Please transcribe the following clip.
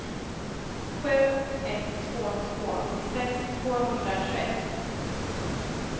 sju ett två två åttiosex tvåhundratjugoett